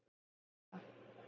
"""Já, ég veit það."""